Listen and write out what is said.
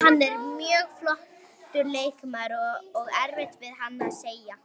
Hann er mjög flottur leikmaður og erfitt við hann að eiga.